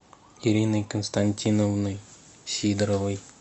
ириной константиновной сидоровой